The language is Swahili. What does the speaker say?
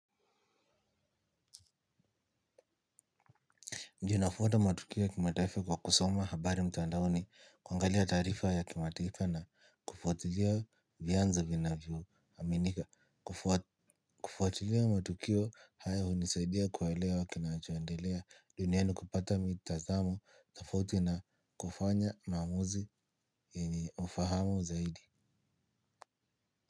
Ninafwata matukio ya kimataifa kwa kusoma habari mtandaoni, kuangalia taarifa ya kimataifa na kufuatilia vyanzo vinavyo aminika. Kufua kufuatilia matukio hayo unisaidia kuelewa kinachoendelea duniani kupata mitazamo tofauti na kufanya maamuzi yenye ufahamu zaidi.